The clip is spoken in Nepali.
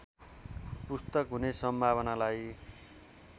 पुस्तक हुने सम्भावनालाई